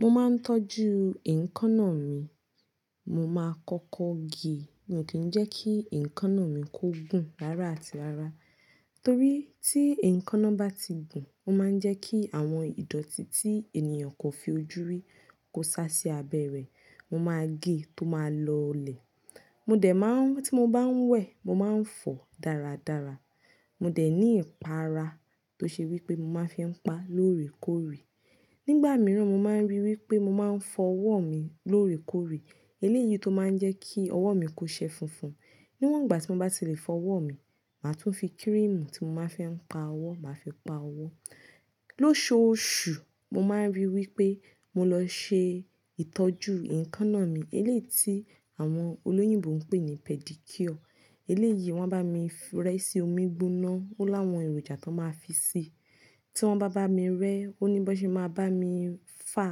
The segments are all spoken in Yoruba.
Mo máa ń tọ́jú èékánná mi. Mo máa kọ́kọ́ gé, ni kí jẹ́ kí èékánná mi kó gùn rára àti rára. Torí tí èékánná bá ti gùn, ó máa ń jẹ́ kí àwọn ìdọ̀tí tí ènìyàn kò fi ojú rí kó sá sí abẹ́ rẹ. Mo máa gé tó máa lọlẹ̀. Mo dẹ̀ máa ń, tí mo bá ń wẹ̀, mo máa ń fọ̀ dáradára. Mo dẹ̀ ní ìpara tó ṣe wí pé mo máa fi pa lóòrèkóòrè. Nígbà mìíràn, mo máa ń ríi wí pé mo máa ń fọ ọwọ́ mi lóòrèkóòrè. Eléyìí tó máa ń jẹ́ kí ọwọ́ mi kó ṣẹ funfun. Níwọ̀n ìgbà tí mo bá ti lè fọ ọwọ́ mi, màá tún fi kírímù tí mo máa ń fi pa ọwọ́, màá fi pa ọwọ́. Lósòosù, mo máa ń ríi wí pé mo lọ ṣe ìtọ́jú èékánná mi. Eléyìí tí àwọn olóyìnbo ń pè ní pedicure. Eléyìí wọ́n bá mi rẹ́ sí omi gbóná tó láwọn èròjà tón máa fi sí i. Tí wọ́n bá bá mi rẹ́, ó ní bó ṣe máa bá mi fà.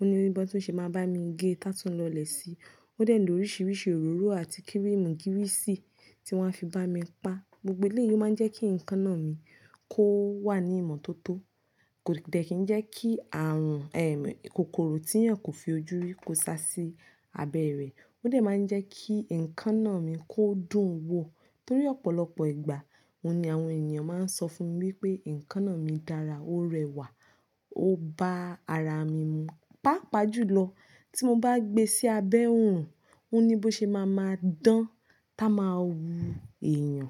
Ó ní bí ó ṣe máa bá mi gé tá tún lọlẹ̀ si. Ó dẹ̀ ní oríṣiríṣi òróró àti kírímù girí sì tí wọ́n a fi bá mi pa. Gbogbo eléyìí máa ń jẹ́ kí èékánná mi kó wà ní ìmọ́tótó. Kò dẹ̀ kí ń jẹ́ kí àrùn, ẹ́, kòkòrò tí ènìyàn kò fi ojú rí kó sá sí abẹ́ rẹ̀. Ó dẹ̀ máa ń jẹ́ kí èékánná mi kó dùn wò. Torí ọ̀pọ̀lọpọ̀ ìgbà, òun ni àwọn ènìyàn máa ń sọ fún mi wí pé èékánná mi dára, ó rẹwà, ó ba ara mi mu. Pápá jù lọ, tí mo bá gbe sí abẹ́ òòrùn, ó ní bó ṣe máa máa dán tá a máa wu èèyàn.